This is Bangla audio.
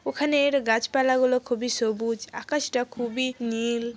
ওখানের গাছপালা গুলো খুবই সবুজ আকাশটা খুবই নীল।